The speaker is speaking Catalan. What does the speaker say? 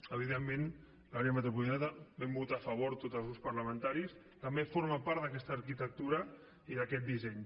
evidentment l’àrea metropolitana hi vam votar a favor tots els grups parlamentaris també forma part d’aquesta arquitectura i d’aquest disseny